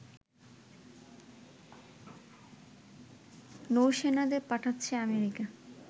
নৌসেনাদের পাঠাচ্ছে আমেরিকা